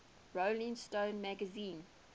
rolling stone magazine